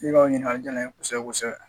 Ika o ɲininkali jala n ye kɔsɛkɛ kosɛbɛ